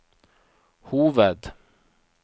hoved